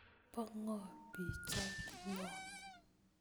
Bo'ngo pichait non?